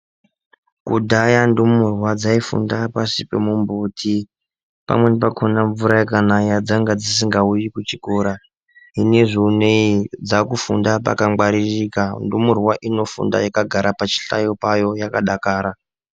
Kudhaya ndumurwa dzaifunda pashi pemumbuti pamwrni pakhona mvura ikanaya dzanga dzisingauyi kuchikora zvinezvi unowu dzakufunda pakangwaririka ndumurwa inofunda yakagara pachihlayo payo yakadakara.